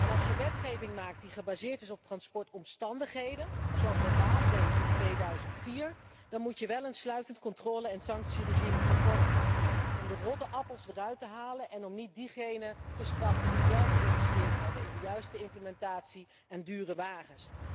En als je wetgeving maakt die gebaseerd is op transportomstandigheden, zoals de Raad deed in 2004, dan moet je wel een sluitend controle en sanctieregime op orde hebben om de rotte appels eruit te halen en om niet diegenen te straffen die wel geïnvesteerd hebben in de juiste implementatie en dure wagens.